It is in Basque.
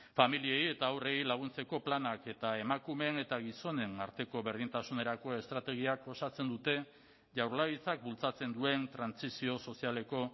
familiei eta haurrei laguntzeko planak eta emakumeen eta gizonen arteko berdintasunerako estrategiak osatzen dute jaurlaritzak bultzatzen duen trantsizio sozialeko